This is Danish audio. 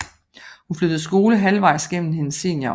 Hun flyttede skole halvvejs gennem hendes seniorår